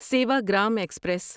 Sevagram express